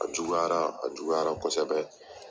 A juguyara, a juguyara kosɛbɛ